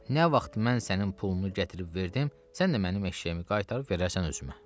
Nə vaxt mən sənin pulunu gətirib verdim, sən də mənim eşşəyimi qaytarıb verərsən özümə.